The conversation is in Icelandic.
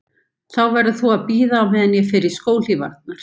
Þá verður þú að bíða á meðan ég fer í skóhlífarnar